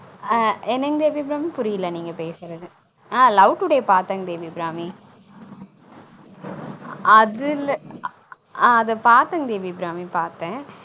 on என்னங்க தேவி அபிராமி புரியல நீங்க பேசுறது ஆன் love today பாத்தங்க தேவி அபிராமி அது இல்ல ஆன் அது பாத்தங்க தேவி அபிராமி பாத்தன்